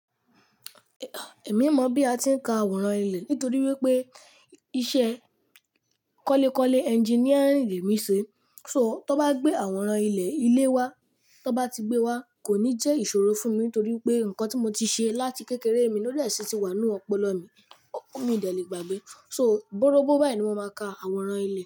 Èmi mọ̀ bí a ti ń ka àwòrán ilé nítorí wípé iṣẹ́ kọ́lekọ́le engineering lè mí ń ṣe. So tó bá gbé àwòrán ilé ilé wa, tó bá ti gbé wá kò ní jẹ́ ìṣòro fún mi nítorí pé nǹkan tí mo ti ṣe láti kékeré mi ló dẹ̀ síti wà nínú ọpọlọ mi. Ò mi dè lè gbàgbé. So bóróbó báyìí ni mo máa ka àwòrán ilé.